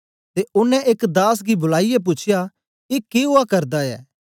ते ओनें एक दास गी बुलाईयै पूछया ए के उआ करदा ऐ